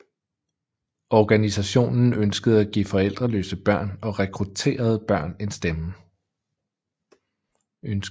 Organisationen ønskede at give forældreløse børn og rekrutterede børn en stemme